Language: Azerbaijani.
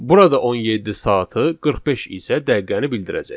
Burada 17 saatı, 45 isə dəqiqəni bildirəcək.